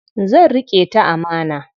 Zan riƙe ta amana.